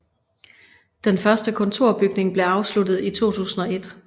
Den første kontorbygning blev afsluttet i 2001